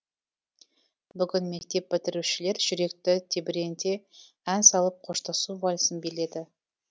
бүгін мектеп бітірушілер жүректі тебіренте ән салып қоштасу вальсін биледі